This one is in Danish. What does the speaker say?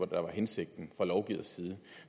der var hensigten fra lovgivers side